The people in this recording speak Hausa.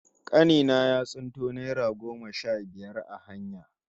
Kani na ya tsinto naira goma sha biyar a hanya